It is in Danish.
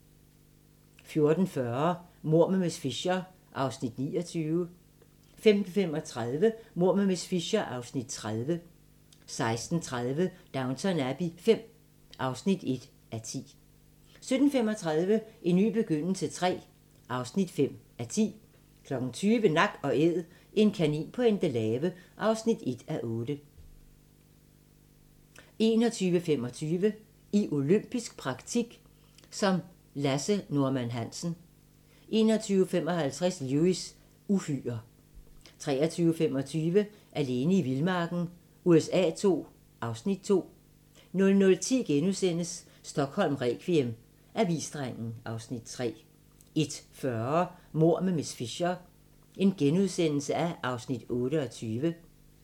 14:40: Mord med miss Fisher (29:13) 15:35: Mord med miss Fisher (30:13) 16:30: Downton Abbey V (1:10) 17:35: En ny begyndelse III (5:10) 20:00: Nak & Æd - en kanin på Endelave (1:8) 21:25: I olympisk praktik som Lasse Norman Hansen 21:55: Lewis: Uhyrer 23:25: Alene i vildmarken USA II (Afs. 2) 00:10: Stockholm requiem: Avisdrengen (Afs. 3)* 01:40: Mord med miss Fisher (28:13)*